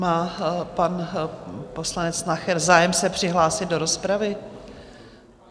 Má pan poslanec Nacher zájem se přihlásit do rozpravy?